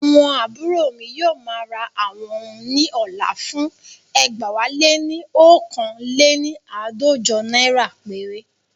Àwọn àbúrò mi yóò ma ra àwọn oun ní ọ̀la fún ẹgbẹ̀wáléní oókan léni àádọ́jọ naira péré